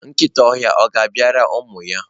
nkịta ọhịa ọ̀ ga-abịara ụmụ ya?